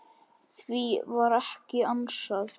Því var ekki ansað.